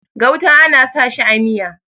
gauta ana sa shi a Miya